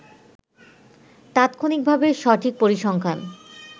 তাৎক্ষণিকভাবে সঠিক পরিসংখ্যান